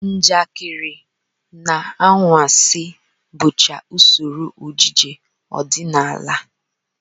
Njakịrị na anwansị bụcha usoro ejije ọdịnala